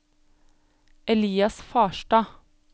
Elias Farstad